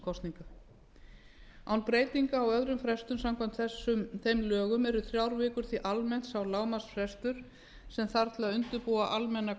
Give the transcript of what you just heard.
alþingiskosninga án breytinga á öðrum frestum samkvæmt þeim lögum eru þrjár vikur því almennt sá lágmarksfrestur sem þarf til að undirbúa almennar